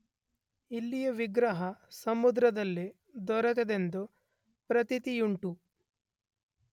ಇಲ್ಲಿಯ ವಿಗ್ರಹ ಸಮುದ್ರದಲ್ಲಿ ದೊರೆತದ್ದೆಂದು ಪ್ರತೀತಿಯುಂಟು.